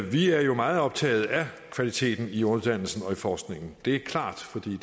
vi er meget optaget af kvaliteten i uddannelsen og forskningen det er klart for det